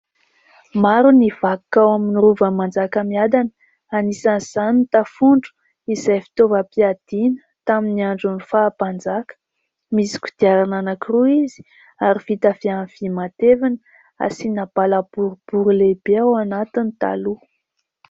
Maro ny vakoka ao amin'ny rovan'i Manjakamiadana. Anisan'izany ny tafondro izay fitaovam-piadiana tamin'ny andron'ny faha mpanjaka. Misy kodiarana anankiroa izy ary vita avy amin'ny vy matevina. Asiana bala boribory lehibe ao anatiny taloha.